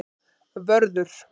Vörður